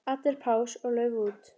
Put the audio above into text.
Allir pass og lauf út.